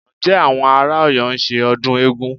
Ǹjẹ́ àwọn ará Ọ̀yọ́ ń ṣe ọdún eégún?